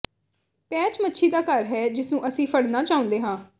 patch ਮੱਛੀ ਦਾ ਘਰ ਹੈ ਜਿਸਨੂੰ ਅਸੀਂ ਫੜਨਾ ਚਾਹੁੰਦੇ ਹਾਂ